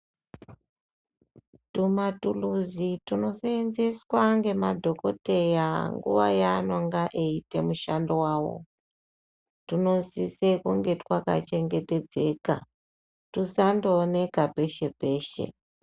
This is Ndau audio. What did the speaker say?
Tuma thurizi tunoseenzeswa ngemadhokodheya nguwa yaanenge eiita mishando yawo tunosisa kunge twakachengetedzeka tusangooneka peshe peshe.